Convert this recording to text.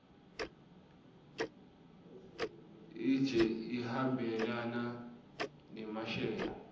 ijse ihambelana nemasheya